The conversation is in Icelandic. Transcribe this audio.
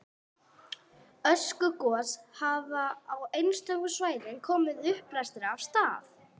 Öskugos hafa og á einstökum svæðum komið uppblæstri af stað.